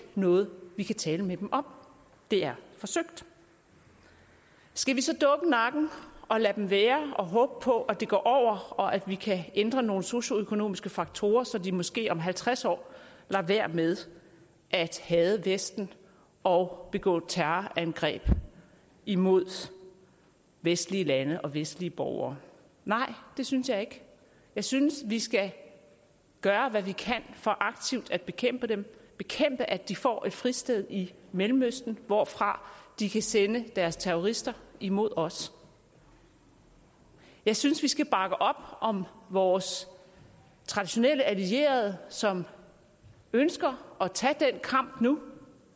noget vi kan tale med dem om det er forsøgt skal vi så dukke nakken og lade dem være og håbe på at det går over og at vi kan ændre nogle socioøkonomiske faktorer så de måske om halvtreds år lader være med at hade vesten og begå terrorangreb imod vestlige lande og vestlige borgere nej det synes jeg ikke jeg synes vi skal gøre hvad vi kan for aktivt at bekæmpe dem bekæmpe at de får et fristed i mellemøsten hvorfra de kan sende deres terrorister imod os jeg synes vi skal bakke op om vores traditionelle allierede som ønsker at tage den kamp nu